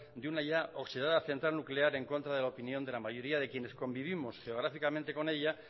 de una ya oxidada central nuclear en contra de la opinión de la mayoría de quienes convivimos geográficamente con ella